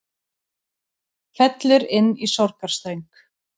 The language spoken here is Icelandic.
Fellur inn í sorgarsöng